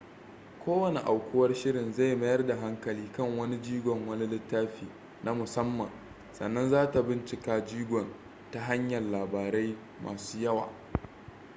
kowane aukuwar shirin zai mayar da hankali kan wani jigon wani littafi na musamman sannan zata bincika jigon ta hanyan labarai masu yawa